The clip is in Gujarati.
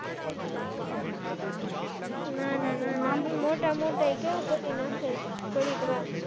ના ના ના ન મોટામ મોટા માં કેવું કરી નાખ્યું થોડીક માં,